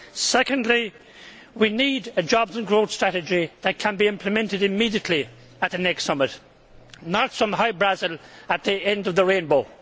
Secondly, we need a jobs and growth strategy that can be implemented immediately at the next summit, not some Hy Brasil at the end of the rainbow.